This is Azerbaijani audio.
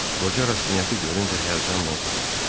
Qoca Rastinyakı görüncə həyəcanla soruşdu.